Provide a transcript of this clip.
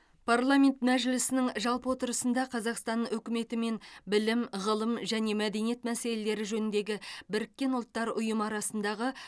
парламент мәжілісінің жалпы отырысында қазақстан үкіметі мен білім ғылым және мәдениет мәселелері жөніндегі біріккен ұлттар ұйымы арасындағы